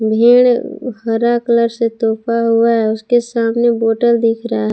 भेड़ हरा कलर से तोपा हुआ है उसके सामने बॉटल दिख रहा है।